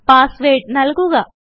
password നല്കുക